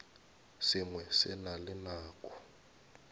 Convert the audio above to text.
sengwe se na le nako